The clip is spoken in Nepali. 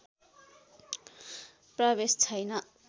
प्रवेश छैन